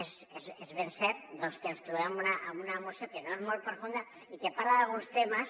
és ben cert que ens trobem amb una moció que no és molt profunda i que parla d’alguns temes